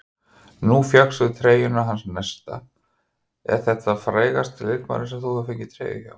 Nú fékkstu treyjuna hans Nesta, er þetta frægasti leikmaðurinn sem þú hefur fengið treyju hjá?